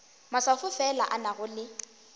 maswafo fela a nago le